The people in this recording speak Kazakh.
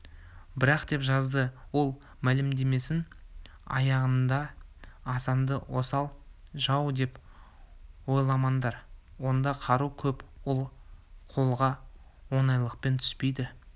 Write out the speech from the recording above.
бірақ деп жазды ол мәлімдемесінің аяғында асанды осал жау деп ойламаңдар онда қару көп ол қолға оңайлықпен түспейді